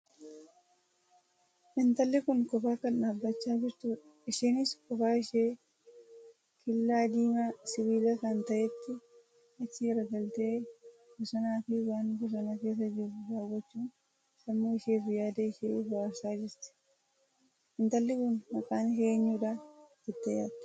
Intalli kun qophaa kan dhaabbachaa jirtuudha. isheenis qophaa ishee killaa diimaa sibiila kan taheetti achi galgaltee bosanaa Fi waan bosona keessa jiru daawwachuun sammuu isheef yaada ishee booharsaa jirti. Intalli kun Maqaa ishee eenyuu jedha jettee yaadda?